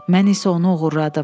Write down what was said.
Mən isə onu oğurladım.